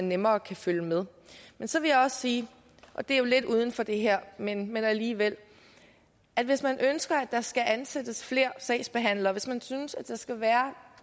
nemmere kan følge med men så vil jeg også sige og det er jo lidt uden for det her men men alligevel at hvis man ønsker at der skal ansættes flere sagsbehandlere hvis man synes at der skal være